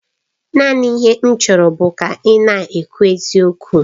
Naanị ihe m chọrọ bụ ka ị na-ekwu eziokwu.